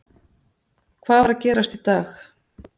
Hvað var að gerast í dag?